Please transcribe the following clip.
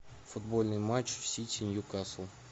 футбольный матч сити ньюкасл